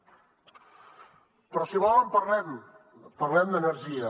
però si volen parlem ne parlem d’energia